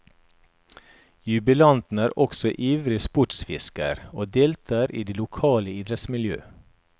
Jubilanten er også ivrig sportsfisker, og deltager i det lokale idrettsmiljø.